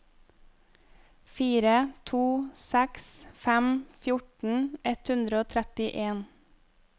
fire to seks fem fjorten ett hundre og trettien